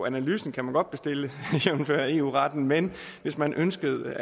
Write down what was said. analysen kan man godt bestille jævnfør eu retten men hvis man ønskede